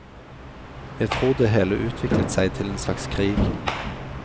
Jeg tror det hele utviklet seg til en slags krig.